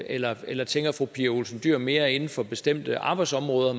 eller eller tænker fru pia olsen dyhr mere inden for bestemte arbejdsområder